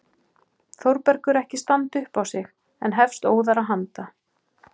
Þórbergur ekki standa upp á sig en hefst óðara handa.